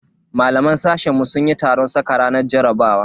Malaman sashen mu sun yi taron saka ranar jarabawa.